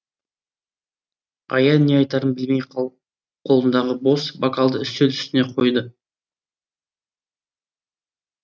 аян не айтарын білмей қолындағы бос бокалды үстел үстіне қойды